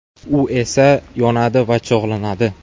U esa yonadi va cho‘g‘lanadi.